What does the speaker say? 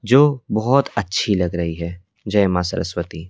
जो बहुत अच्छी लग रही है जय मां सरस्वती--